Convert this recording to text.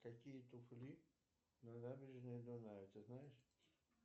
какие туфли на набережной дуная ты знаешь